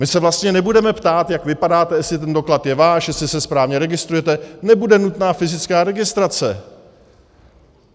My se vlastně nebudeme ptát, jak vypadáte, jestli ten doklad je váš, jestli se správně registrujete, nebude nutná fyzická registrace.